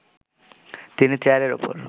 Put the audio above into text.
তিনি চেয়ারের উপর